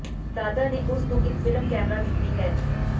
ਦਾਦਾ ਨੇ ਉਸ ਨੂੰ ਇੱਕ ਫਿਲਮ ਕੈਮਰਾ ਦਿੱਤੀ ਹੈ